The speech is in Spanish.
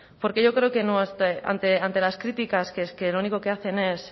porque yo creo que ante las críticas que lo único que hacen es